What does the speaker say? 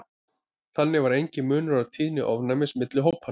þannig var enginn munur á tíðni ofnæmis milli hópanna